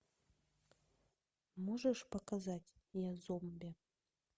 можешь показать я зомби